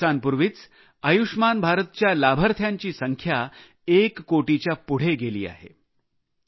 काही दिवसांपूर्वीच आयुष्मान भारत च्या लाभार्थ्यांची संख्या एक कोटीच्या पुढे गेली आहे